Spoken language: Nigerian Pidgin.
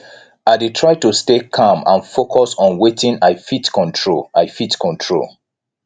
i dey try to stay calm and focus on wetin i fit control i fit control